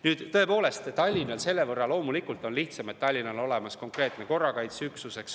Nüüd, tõepoolest, Tallinnal on selle võrra loomulikult lihtsam, et Tallinnal on olemas konkreetne korrakaitseüksus.